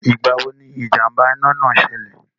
Ìgbà wo ni ìjàm̀bà iná náà ṣilẹ̀?